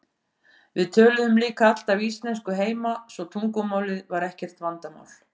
Við töluðum líka alltaf íslensku heima svo tungumálið var ekkert vandamál.